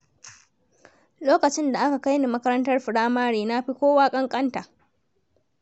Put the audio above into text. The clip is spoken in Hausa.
Lokacin da aka kaini makarantar firamare na fi kowa ƙanƙanta.